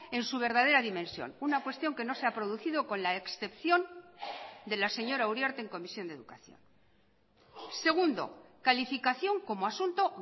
en su verdadera dimensión una cuestión que no se ha producido con la excepción de la señora uriarte en comisión de educación segundo calificación como asunto